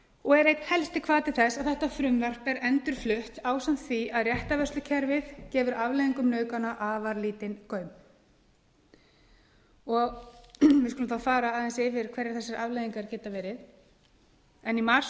og er einn helsti hvati þess að þetta frumvarp er endurflutt ásamt því að réttarvörslukerfið gefur afleiðingum nauðgana afar lítinn gaum við skulum þá fara aðeins yfir hverjar þessar afleiðingar geta verið í mars